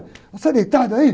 Você deitado aí?